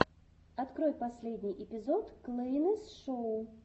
открой последний эпизод клэйнес шоу